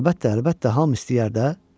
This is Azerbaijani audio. Əlbəttə, əlbəttə, hamı istəyər də.